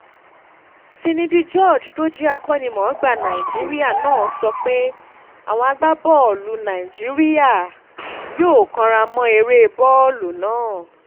finidi george tó jẹ́ akó̩nimò̩ó̩gbá nàìjíríà náà sọ pé àwọn agbábọ́ọ̀lù nàìjíríà agbábọ́ọ̀lù nàìjíríà yóò káràmó̩ eré bó̩ò̩lù náà